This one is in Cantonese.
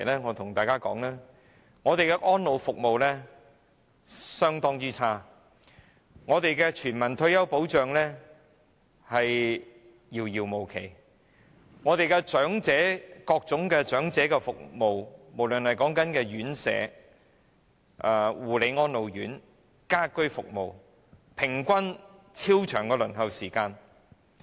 我向大家指出，本港的安老服務相當差，全民退休保障遙遙無期，各種長者服務，無論是院舍、護理安老院或家居服務的平均輪候時間也十分長。